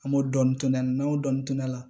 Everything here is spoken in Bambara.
An b'o dɔɔnin to ne la n'an y'o dɔɔni to ne la